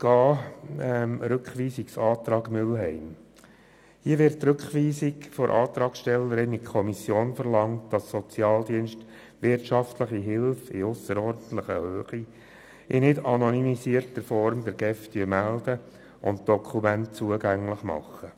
Zum Rückweisungsantrag Mühlheim: Hier wird die Rückweisung in die Kommission verlangt, damit die Sozialdienste wirtschaftliche Hilfe in ausserordentlicher Höhe der GEF in nicht anonymisierter Form melden und entsprechende Dokumente zugänglich machen.